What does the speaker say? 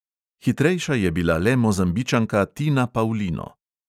Hitrejša je bila le mozambičanka tina paulino.